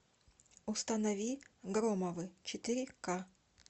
установи громовы четыре ка